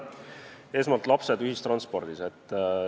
Esmalt, lapsed ühistranspordis.